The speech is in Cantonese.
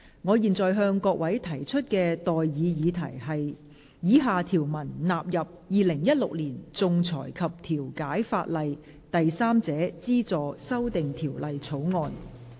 我現在向各位提出的待議議題是：以下條文納入《2016年仲裁及調解法例條例草案》。